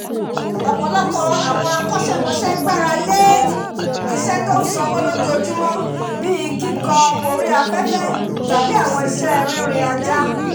ọ̀pọ̀lọpọ̀ àwọn akọ́ṣẹ́mọṣẹ́ gbarale awọn iṣẹ́ tọ ń sanwó lójoojúmọ̀ bíi kíkọ orí afẹ́fẹ́ tabi àwọn iṣẹ́ ririn ajá